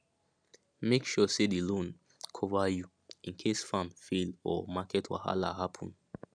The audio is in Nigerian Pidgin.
make sure say the loan cover you in case farm fail or market wahala happen